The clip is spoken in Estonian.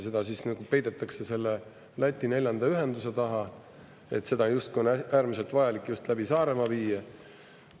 Seda peidetakse siis selle Läti neljanda ühenduse taha, et seda on justkui äärmiselt vajalik just läbi Saaremaa viia.